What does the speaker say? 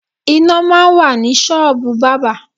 Iná máa ń wà ní ṣọ́ọ̀bù bábà.